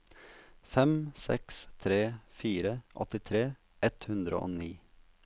fem seks tre fire åttitre ett hundre og ni